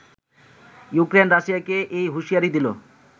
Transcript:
Ukraine রাশিয়াকে এ হুঁশিয়ারি দিল